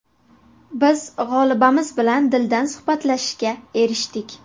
Biz g‘olibamiz bilan dildan suhbatlashishga erishdik.